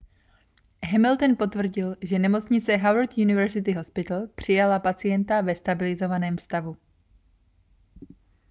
hamilton potvrdil že nemocnice howard university hospital přijala pacienta ve stabilizovaném stavu